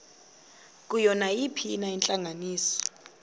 kuyo nayiphina intlanganiso